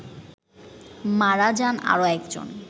মারা যান আরো একজন